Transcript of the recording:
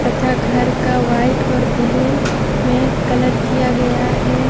तथा घर का व्हाइट और ब्लू में कलर किया गया है।